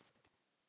Elsku amma Lína.